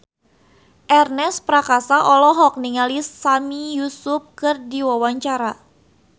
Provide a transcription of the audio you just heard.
Ernest Prakasa olohok ningali Sami Yusuf keur diwawancara